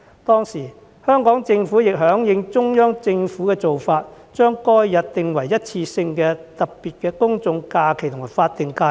當時香港政府亦響應中央政府的做法，把該日訂為一次性的特別公眾假期及法定假日。